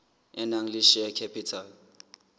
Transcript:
e nang le share capital